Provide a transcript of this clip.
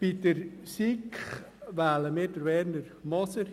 Bei der SiK wählen wir einstimmig Werner Moser.